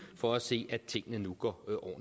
for at se at tingene nu går